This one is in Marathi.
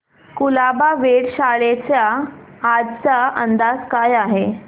कुलाबा वेधशाळेचा आजचा अंदाज काय आहे